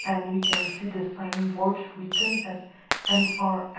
and we can see the sign board written as M_R a--